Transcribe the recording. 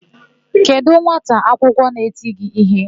Kedụ nwata akwụkwọ na-eti gị íhé?